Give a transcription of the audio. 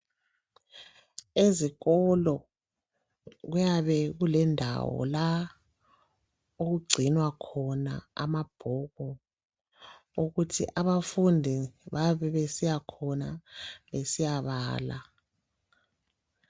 Ezikolo kuyabe kulendawo la okugcinwa khona amabhuku ukuthi abafundi bayabe besiyakhona besiyabala.